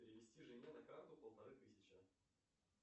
перевести жене на карту полторы тысячи